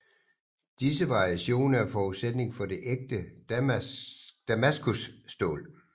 Disse variationer er forudsætningen for det ægte damaskusstål